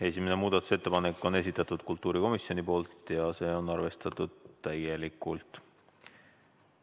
Esimene muudatusettepanek on kultuurikomisjoni esitatud ja seda on arvestatud täielikult.